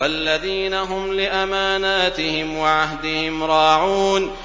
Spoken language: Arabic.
وَالَّذِينَ هُمْ لِأَمَانَاتِهِمْ وَعَهْدِهِمْ رَاعُونَ